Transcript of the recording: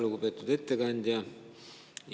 Lugupeetud ettekandja!